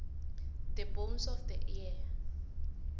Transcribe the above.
the bones of the ear